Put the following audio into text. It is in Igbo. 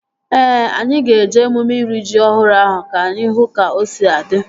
Ee, anyị ga-eje emume iri ji ọhụrụ ahụ ka anyị hụ ka o si adị